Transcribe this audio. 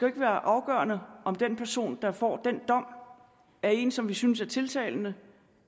ikke være afgørende om den person der får den dom er en som vi synes er tiltalende